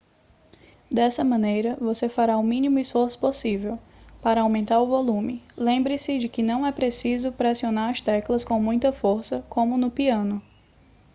dessa maneira você fará o mínimo esforço possível para aumentar o volume lembre-se de que não é preciso pressionar as teclas com muita força como no piano